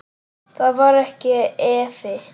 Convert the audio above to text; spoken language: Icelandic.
Þar var ekki efi.